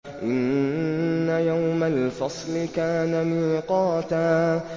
إِنَّ يَوْمَ الْفَصْلِ كَانَ مِيقَاتًا